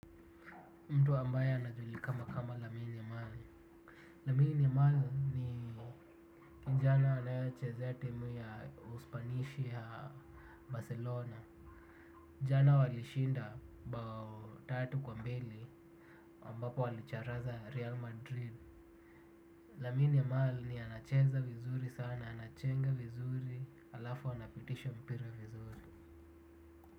Mtu ambaye anajulikana kama Lamini Yemal Lamini Yemal ni kijana anaechezea timu ya uspanishi ya barcelona jana walishinda bao tatu kwa mbili ambapo walicharaza real madrid yemin amal anacheza vizuri sana anachenga vizuri halafu anapitisha mpira vizuri.